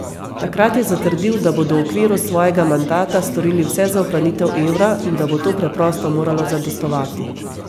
Takrat je zatrdil, da bodo v okviru svojega mandata storili vse za ohranitev evra in da bo to preprosto moralo zadostovati.